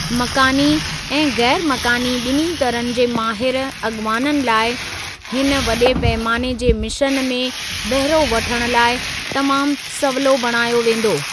मकानी ऐं गैर मकानी ॿिन्हीं तरहनि जे माहिर अॻुवाननि लाइ हिन वॾे पैमाने जे मिशन में बहिरो वठण लाइ तमामु सवलो बणायो वेंदो।